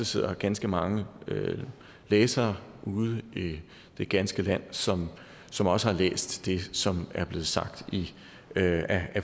sidder ganske mange læsere ude i det ganske land som som også har læst det som er blevet sagt af